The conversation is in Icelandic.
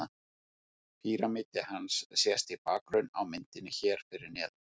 Píramídi hans sést í bakgrunni á myndinni hér fyrir neðan.